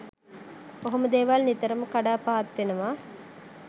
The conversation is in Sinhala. ඔහොම දේවල් නිතරම කඩා පහත් වෙනව.